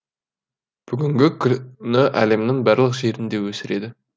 бүгінгі күні әлемнің барлық жерінде өсіреді